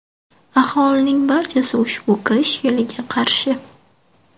Aholining barchasi ushbu kirish yo‘liga qarshi.